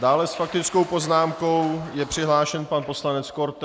Dále s faktickou poznámkou je přihlášen pan poslanec Korte.